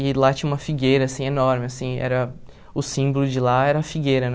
E lá tinha uma figueira, assim, enorme, assim, era o símbolo de lá era a figueira, né?